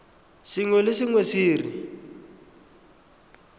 sengwe le sengwe se re